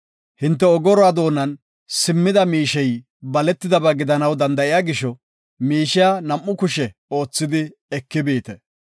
Hinte ogoruwa doonan simmida miishey baletidaba gidanaw danda7iya gisho, miishiya nam7u kushe oothidi eki biite.